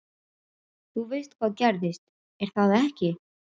Þú veist hvað gerðist, er það ekki?